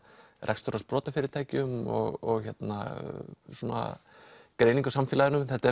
rekstur á sprotafyrirtækjum og svona greiningu á samfélaginu þetta